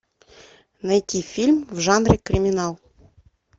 найти фильм в жанре криминал